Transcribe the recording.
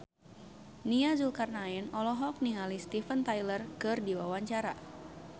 Nia Zulkarnaen olohok ningali Steven Tyler keur diwawancara